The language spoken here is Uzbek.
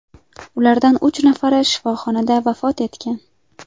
Ulardan uch nafari shifoxonada vafot etgan.